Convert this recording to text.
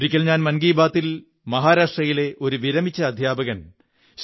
ഒരിക്കൽ ഞാൻ മൻ കീ ബാത്തിൽ മഹാരാഷ്ട്രയിലെ ഒരു വിരമിച്ച അദ്ധ്യാപകൻ ശ്രീ